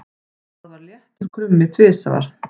Það var léttur krummi tvisvar.